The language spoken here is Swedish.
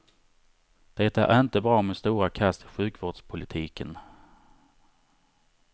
Det är inte bra med stora kast i sjukvårdspolitiken.